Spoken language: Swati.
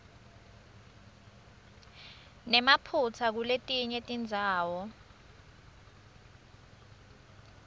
nemaphutsa kuletinye tindzawo